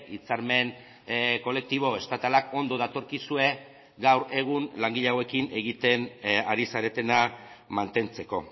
hitzarmen kolektibo estatalak ondo datorkizue gaur egun langile hauekin egiten ari zaretena mantentzeko